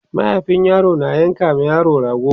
mahaifin yaro na yanka ma yaro rago